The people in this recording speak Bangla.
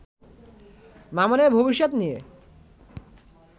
মামুনের ভবিষ্যৎ নিয়ে